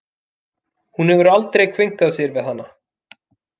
Hún hefur aldrei kveinkað sér við hana.